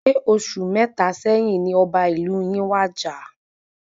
Ṣe oṣù mẹta sẹ́yín ní ọba ìlú yin wàjà?